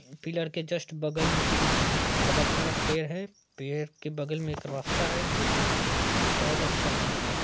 Pillar के just बगल मे ही एक बहुत बड़ा पेड़ है पेड़ के बगल मे एक रास्ता है जो की बहोत अच्छा दिख रहा है।